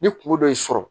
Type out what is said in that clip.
Ni kungo dɔ y'i sɔrɔ